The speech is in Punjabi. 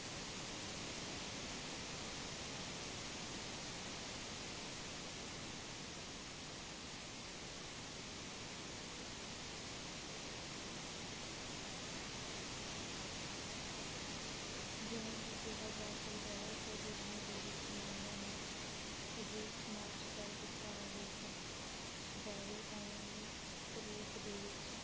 ਜਿਵੇਂ ਕਿ ਕਿਹਾ ਜਾ ਸਕਦਾ ਹੈ ਸਵੈ-ਜੀਵਨੀ ਦੇ ਵਿੱਚ ਨੂੰ ਇਹ ਕਰ ਦਿੱਤਾ ਜਾਏਗਾ। ਜਾਵੇ। ਅਹ ਉਵੇਂ ਹੀ ਰੂਪ ਦੇ ਵਿੱਚ